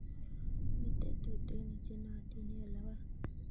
Mito tutuinik che naotin eng' logoek